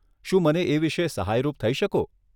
શું મને એ વિષે સહાયરૂપ થઇ શકો?